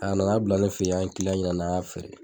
A nan'a bila ne fɛ yen an ye ɲini an y'a feere